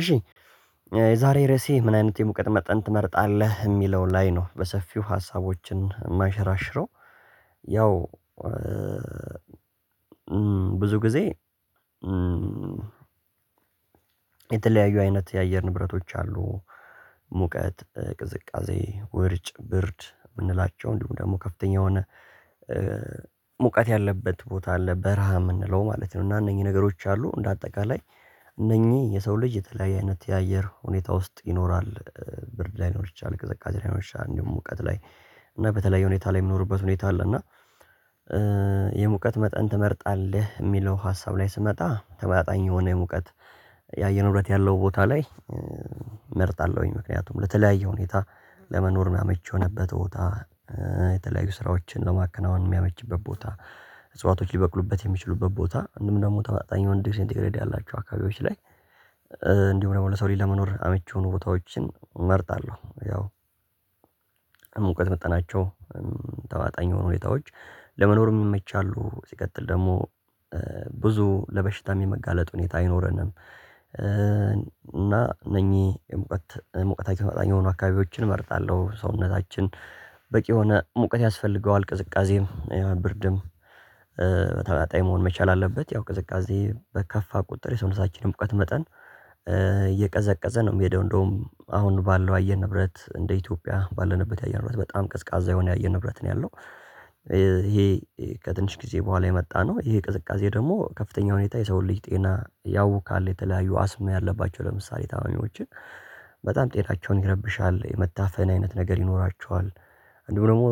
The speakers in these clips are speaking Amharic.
እሺ የዛሬ ርዕሴ ምን አይነት የሙቀት መጠን ትመርጣለህ የሚለው ላይ ነው በሰፊው ሀሳቦችን የማንሽራሽረው? ያው ብዙ ጊዜ የተለያዩ አይነት የአየር ንብረቶች አሉ ሙቀት ቅዝቃዜ ውርጭ ብርድ የምንላቸው እንዲሁም ደግሞ ከፍተኛ የሆነ ሙቀት ያለበት ቦታ አለ በረሃ የምንለው ማለት ነው። እና እነኚህ ነገሮች አሉ እንደ አጠቃላይ እነኚህ የሰው ልጅ የተለያየ አይነት የአየር ሁኔታ ውስጥ ይኖራል። ብርድ ላይኖር ይችላል ቅዝቃዜ ላይ ላይኖር እንዲሁም ሙቀት ላይ እና በተለያየ ሁኔታ ላይ የምኖርበት ሁኔታ አለ። እና የሙቀት መጠን ትመርጣለህ የሚለው ሀሳብ ላይ ስመጣ ተመጣጣኝ የሆነ ሙቀት የአየር ንብረት ያለው ቦታ ላይ እመርጣለሁኝ ምክንያቱም ለተለያየ ሁኔታ ለመኖር አመቺ የሆነበት ቦታ የተለያዩ ስራዎችን ለማከናወን የሚያመችበት ቦታ እጽዋቶች ሊበቅሉበት የሚችሉበት ቦታ እንዲሁም ደግሞ ተመጣጣኝ የወንድ ሴንት ግሬድ ያላቸው አካባቢዎች ላይ እንዲሁም ደግሞ ለሰው ሊለመኖር አመቺ ሆኖ ቦታዎችን እመርጣለሁ። ያው የሙቀት መጣናቸው ተመጣጣኝ የሆኑ ሁኔታዎች ለመኖር ይመቻሉ ሲቀጥል ደግሞ ብዙ ለበሽታም የመጋለጥ ሁኔታ አይኖረንም እና እነኚህ ሙቀት ሙቀታቸው ተመጣጣኝ የሆኑ አካባቢዎችን እመርጣለሁ። ሰውነታችን በቂ የሆነ ሙቀት ያስፈልገዋል ቅዝቃዜ የብርድም ተመጣጣኝ መሆን መቻል አለበት ያው ቅዝቃዜ በከፋ ቁጥር የሰውነታችን ሙቀት መጠን እየቀዘቀዘ ነው የሚሄደው እንደውም አሁን ባለው አየር ንብረት እንደ ኢትዮጵያ ባለንበት የአየር ንብረት በጣም ቀዝቃዛ የሆነ የአየር ንብረት ነው ያለው። ይሄ ከትንሽ ጊዜ በኋላ የመጣነው ይሄ ቅዝቃዜ ደግሞ ከፍተኛ ሁኔታ የሰው ልጅ ጤና ያውካል የተለያዩ አስም ያለባቸው ለምሳሌ ታማሚዎችን በጣም ጤናቸውን ይረብሻል የመታፈን አይነት ነገር ይኖራቸዋል። አንዲሁም ደግሞ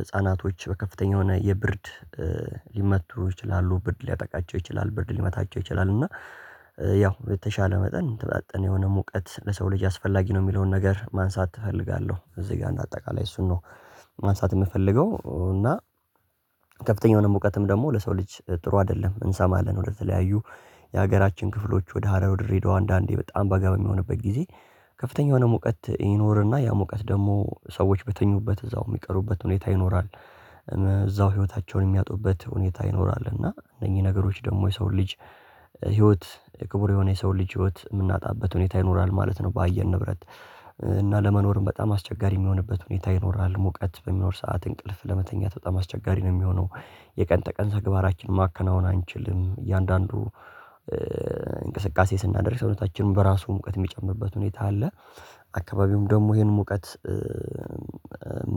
ህፃናቶች በከፍተኛ የሆነ የብርድ ሊመቱ ይችላሉ ብርድ ሊያጠቃቸው ይችላል ብርድ ሊመታቸው ይችላል እና ያው የተሻለ መጠን የተመጣጠነ የሆነ ሙቀት ለሰው ልጅ አስፈላጊ ነው። የሚለውን ነገር ማንሳት እፈልጋለሁ እዚህ ጋር እንደ አጠቃላይ እሱን ነው ማንሳት የምፈልገው እና የሆነ ሙቀትም ደግሞ ለሰው ልጅ ጥሩ አይደለም። እንሰማለን ወደተለያዩ የሀገራችን ክፍሎች ወደ ሀረር ወደ ድሬዳዋ አንዳንዴ በጣም በጋ በሚሆንበት ጊዜ ከፍተኛ የሆነ ሙቀት ይኖርና ያ ሙቀት ደግሞ ሰዎች በተኙበት እዛው የሚቀሩበት ሁኔታ ይኖራል እዛው ህይወታቸውን የሚያጡበት ሁኔታ ይኖራል እና እነኝህ ነገሮች ደግሞ የሰው ልጅ ህይወት ክቡር የሆነ የሰው ልጅ ህይወት የምናጣበት ሁኔታ ይኖራል ማለት ነው። በአየር ንብረት እና ለመኖርም በጣም አስቸጋሪ የሚሆንበት ሁኔታ ይኖራል ሙቀት በሚኖር ሰዓት እንቅልፍ ለመተኛት በጣም አስቸጋሪ ነው የሚሆነው። የቀን ተቀን ተግባራችን ማከናወን አንችልም እያንዳንዱ እንቅስቃሴ ስናደርግ ሰውነታችንም በራሱ ሙቀት የሚጨምርበት ሁኔታ አለ አካባቢውም ደግሞ ይሄን ሙቀት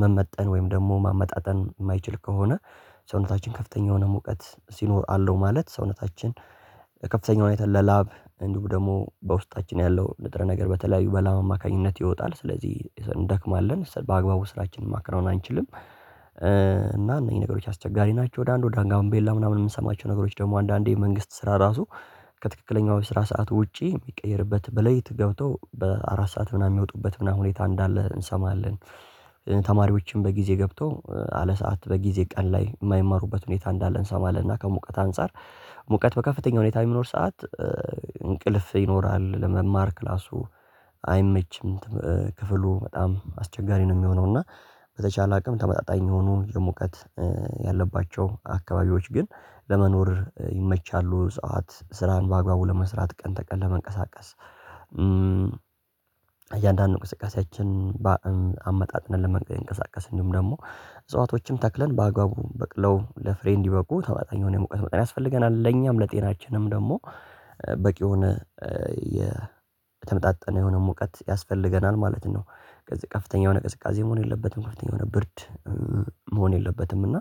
መመጠን ወይም ደግሞ ማመጣጠን የማይችል ከሆነ ሰውነታችን ከፍተኛ የሆነ ሙቀት ሲኖር አለው ማለት ሰውነታችን ከፍተኛው የሆነ የተለ ላብ እንዲሁም ደግሞ በውስጣችን ያለው ንጥረ ነገር በተለያዩ በላብ አማካኝነት ይወጣል ስለዚህ እንደክማለን በአግባቡ ስራችንን ማከናዎን አንችልም። እና እነኝህ ነገሮች አስቸጋሪ ናቸው ወደ አንዱ ዳንጋምቤላ ምናምን የምንሰማቸው ነገሮች ደግሞ አንዳንዴ መንግስት ስራ ራሱ ከትክክለኛው የስራ ሰዓት ውጪ የሚቀየርበት በሌሊት ገብተው በአራት ሰዓት ምናምን የሚወጡበት ምናምን ሁኔታ እንዳለ እንሰማለን። ተማሪዎችን በጊዜ ገብተው አለ ሰዓት በጊዜ ቀን ላይ የማይማሩበት ሁኔታ እንዳለ እንሰማለን እና ከሙቀት አንፃር ሙቀት በከፍተኛ ሁኔታ የሚኖር ሰዓት እንቅልፍ ይኖራል ለመማር ክላሱ አይመችም። ክፍሉ በጣም አስቸጋሪ ነው የሚሆነው እና በተቻለ አቅም ተመጣጣኝ የሆኑ የሙቀት ያለባቸው አካባቢዎች ግን ለመኖር ይመቻሉ ሰዓት ስራን በአግባቡ ለመስራት ቀን ተቀን ለመንቀሳቀስ እያንዳንዱ እንቅስቃሴያችን በአ አመጣጥነን ለመንቀሳቀስ እንዲሁም ደግሞ እጽዋቶችን ተክለን በአግባቡ በቅለው ለፍሬ እንዲበቁ ተመጣጣኝ የሆነ የሙቀት መጠን ያስፈልገናል ለኛም ለጤናችንም ደግሞ በቂ የሆነ የተመጣጠነ የሆነ ሙቀት ያስፈልገናል ማለት ነው። ስለዚህ ከፍተኛ የሆነ ቅዝቃዜ መሆን የለበትም ከፍተኛ የሆነ ብርድ መሆን የለበትም እና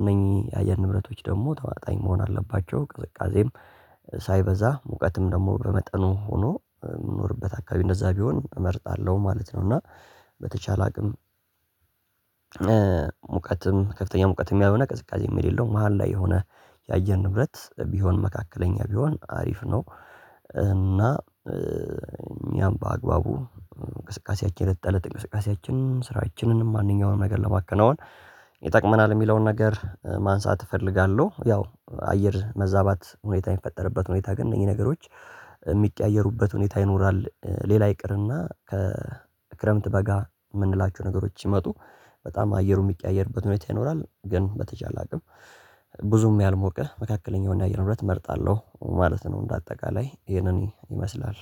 እነኚህ የአየር ንብረቶች ደግሞ ተመጣጣኝ መሆን አለባቸው ቅዝቃዜም ሳይበዛ ሙቀትም ደግሞ በመጠኑ ሆኖ የምኖርበት አካባቢ እንደዛ ቢሆን እመርጣለሁ ማለት ነው። እና በተቻለ አቅም ሙቀትም ከፍተኛ ሙቀትም ያልሆነ ቅዝቃዜም የሌለው መሃል ላይ የሆነ የአየር ንብረት ቢሆን መካከለኛ ቢሆን አሪፍ ነው እና እኛም በአግባቡ እንቅስቃሴያችን የእለት ተለት እንቅስቃሴያችን ስራችንን ማንኛውንም ነገር ለማከናወን ይጠቅመናል። የሚለውን ነገር ማንሳት እፈልጋለሁ ያው አየር መዛባት ሁኔታ የሚፈጠርበት ሁኔታ ግን እነኝህ ነገሮች የሚቀያየሩበት ሁኔታ ይኖራል ሌላ ይቅርና ከክረምት በጋ የምንላቸው ነገሮች ሲመጡ በጣም አየሩ የሚቀያየርበት ሁኔታ ይኖራል። ግን በተቻለ አቅም ብዙም ያልሞቀ መካከለኛውን የአየር ንብረት እመርጣለሁ ማለት ነው። እንደ አጠቃላይ ይሄንን ይመስላል